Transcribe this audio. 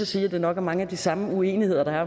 sige at det nok er mange af de samme uenigheder der